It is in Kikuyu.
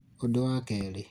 ũndũ wa kerĩ